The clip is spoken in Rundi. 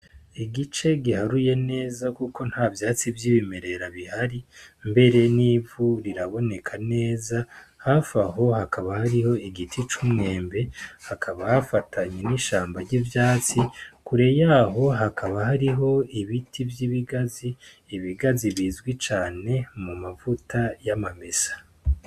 Igice giharuye neza kuko ntavyatsi vyibimerera bihari mbere nivu riraboneka neza hafi aho hakaba hariho igiti c'umwembe hakaba hafatanye n'ishamba ry'ivyatsi kure yaho hakaba hariho ibiti vy'ibigazi, ibigazi bizwi cane mu mavuta y'amamesa.